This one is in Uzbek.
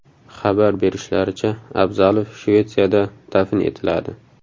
Xabar berishlaricha, Abzalov Shvetsiyada dafn etiladi .